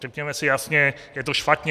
Řekněme si jasně, je to špatně.